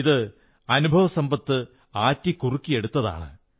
ഇത് അനുഭവസമ്പത്ത് ആറ്റിക്കുറുക്കിയതാണ്